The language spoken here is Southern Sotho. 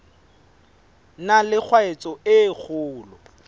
na le tshwaetso e kgolo